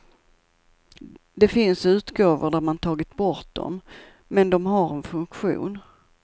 Det finns utgåvor där man tagit bort dem, men de har en funktion.